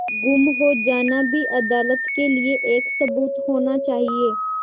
गुम हो जाना भी अदालत के लिये एक सबूत होना चाहिए